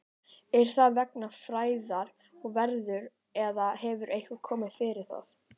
Er það vegna færðar og veðurs eða hefur eitthvað komið fyrir það?